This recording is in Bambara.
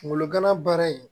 Kunkolo gana baara in